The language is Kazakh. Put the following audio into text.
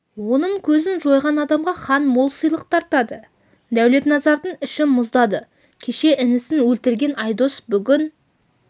оның көзін жойған адамға хан мол сыйлық тартады дәулетназардың іші мұздады кеше інісін өлтірген айдос бүгін